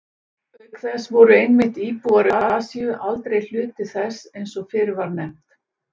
Auk þess voru einmitt íbúar Austur-Asíu aldrei hluti þess eins og fyrr var nefnt.